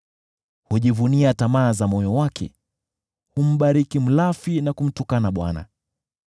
Hujivunia tamaa za moyo wake; humbariki mlafi na kumtukana Bwana .